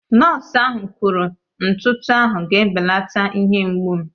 Nọọsụ ahụ kwuru ntụtụ ahụ ga-ebelata ihe mgbu m